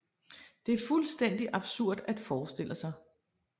Det er fuldstændig absurd at forestille sig